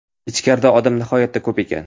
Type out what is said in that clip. Ichkarida odam nihoyatda ko‘p ekan.